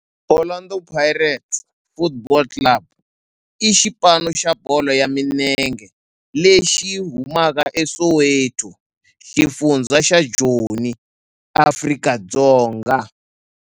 Orlando Pirates Football Club i xipano xa bolo ya milenge lexi humaka eSoweto, xifundzha xa Joni, Afrika-Dzonga.